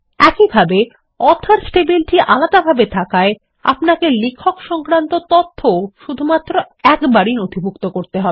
একইভাবে অথর্স টেবিলটি আলাদাভাবে থাকায় আপনাকে লেখক সংক্রান্ত তথ্য ও শুধু একবারই নথিভুক্ত করতে হবে